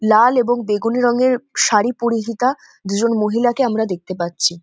লাল এবং বেগুনী রঙের শাড়ি পরিহিতা দুজন মহিলাকে আমরা দেখতে পাচ্ছি।